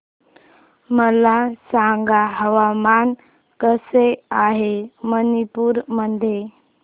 मला सांगा हवामान कसे आहे मणिपूर मध्ये